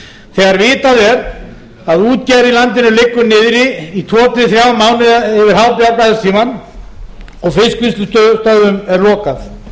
þegar vitað er að útgerð í landinu liggur niðri í tvö til þrjá mánuði yfir hábjargræðistímann og fiskvinnslustöðvum er lokað